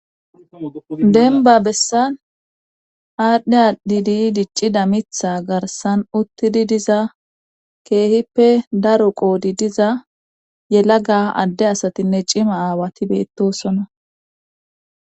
Denba bessan aadhdhe aadhidi diccida mitha garsan uttidi diza keehippe daro qoodi diza yelaga adde asatinne cima aawati beettosona.